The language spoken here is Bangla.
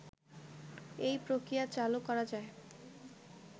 এই প্রক্রিয়া চালু করা যায়